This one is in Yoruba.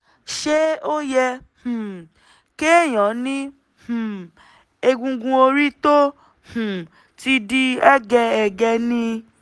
(ṣé ó yẹ um kéèyàn ní um egungun orí tó um ti di hẹ́gẹhẹ̀gẹ ni?)